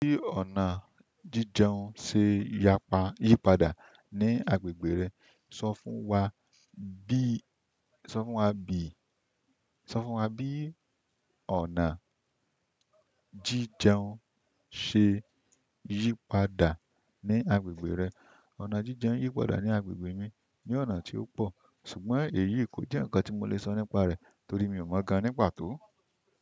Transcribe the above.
Bí ọ̀nà jíjeun ṣe yípadà ní agbègbè rẹ, sọ fún wa bí, sọ fún wa bí, sọ fún wa bí ọ̀nà jíjeun ṣe yípadà ní agbègbè rẹ. Ọ̀nà jíjeun yípadà ní agbègbè mi ni ọ̀nà tí ó pọ̀, ṣùgbọ́n èyí kò jẹ́ nǹkan tí mo lè sọ nípa rẹ̀ torí mi ò mọ̀ ọ́n gan ní pàtó.